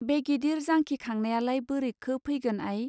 बे गिदिर जांखिखांनायालाय बोरैखो फैगोन आइ.